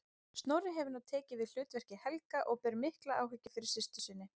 Snorri hefur nú tekið við hlutverki Helga og ber mikla umhyggju fyrir systur sinni.